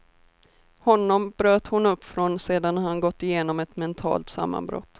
Honom bröt hon upp från sedan han gått igenom ett mentalt sammanbrott.